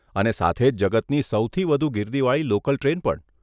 અને સાથે જ જગતની સૌથી વધુ ગીર્દીવાળી લોકલ ટ્રેન પણ.